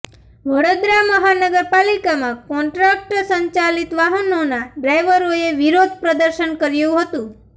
વડોદરા મહાનગરપાલિકામાં કોન્ટ્રકટ સંચાલિત વાહનોના ડ્રાઈવરોએ વિરોધ પ્રદર્શન કર્યું હતું